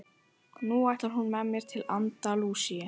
Nú ætlar hún með mér til Andalúsíu.